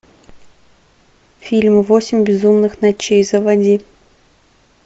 фильм восемь безумных ночей заводи